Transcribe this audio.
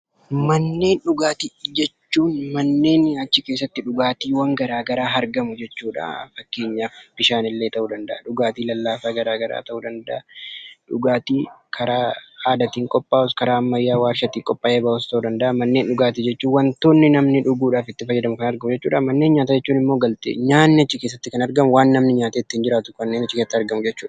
Manneen dhugaatii jechuun manneen achi keessatti dhugaatiiwwan garaa garaa argamu jechuudha. Fakkeenyaaf bishaanillee ta'uu danda'a, dhugaatii lallaafaa garaa garaa ta'uu danda'a, dhugaatii karaa aadaatiin qophaa'us, karaa aadaatiin qophaa'u karaa waarshaatiin qophaa'ee bahus ta'uu danda'a. Manneen dhugaatii jechuun waantoonni namni dhuguudhaaf itti fayyadamu kan argamu jechuudha. Manneen nyaataa jechuun ammoo galtee nyaatni kan achi keessatti argamu, waan namni nyaatee jiraatu kanneen achi keessatti argamu jechuudha.